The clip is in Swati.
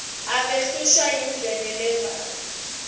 abehlushwa yindlebe levako